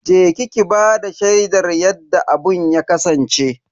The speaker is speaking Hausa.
Je ki ki bada shaidar yadda abun ya kasance.